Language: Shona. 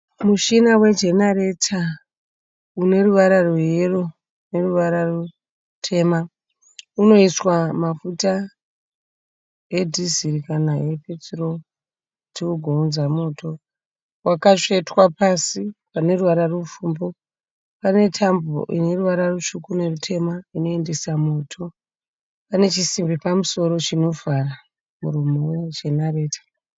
Mushina wegenareta uneruvara rweyero neruvara rutema. Uneiswa mafuta edhiziri kana epeturo kuti ugounza moto. Wakatsvetwa pasi paneruvara rupfumbu. Panetambo ineruvara rutsvuku nerutema inoendesa moto. Panechisimbi pamusoro chinovhara muromo wegenarata.